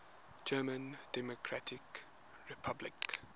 german democratic republic